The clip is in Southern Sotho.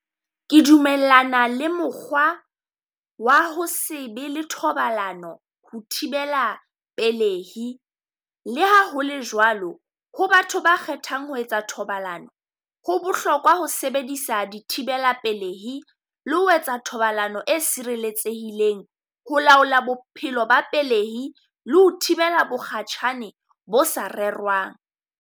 Ke dumellana le mokgwa wa ho se be le thobalano ho thibela pelehi. Le ha ho le jwalo, ho batho ba kgethang ho etsa thobalano. Ho bohlokwa ho sebedisa di thibela pelehi le ho etsa thobalano e sireletsehileng ho laola bophelo ba pelehi, le ho thibela mokgatjhane bo sa rerwang.